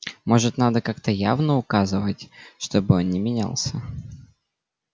может надо как-то явно указать чтобы он не менялся